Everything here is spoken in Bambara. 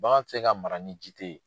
Bagan tɛ se ka mara ni ji tɛ ye.